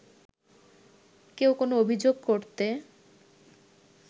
কেউ কোনো অভিযোগ করতে